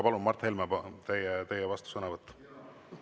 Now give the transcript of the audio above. Palun, Mart Helme, teie vastusõnavõtt!